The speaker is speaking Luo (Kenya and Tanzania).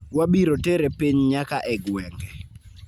Wabiro tere piny nyaka e gwenge.